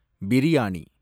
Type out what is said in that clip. biryani